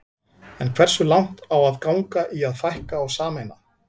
En hversu langt á að ganga í að fækka og sameina?